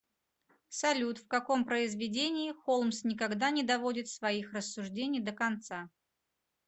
салют в каком произведении холмс никогда не доводит своих рассуждений до конца